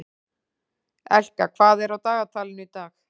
Elka, hvað er á dagatalinu í dag?